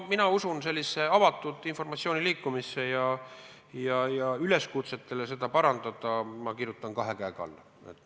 Mina usun avatud informatsiooni liikumisse ja üleskutsetele seda parandada kirjutan kahe käega alla.